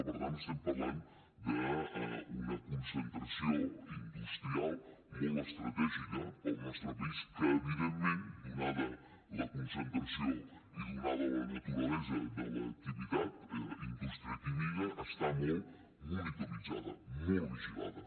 per tant estem parlant d’una concentració industrial molt estratègica per al nostre país que evidentment donada la concentració i donada la naturalesa de l’activitat indústria química està molt monitoritzada molt vigilada